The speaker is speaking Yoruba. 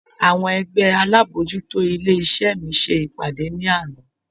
Àwọn ẹgbẹ́ alábojútó ilé iṣẹ́ mi ṣe ìpàdé ní àná.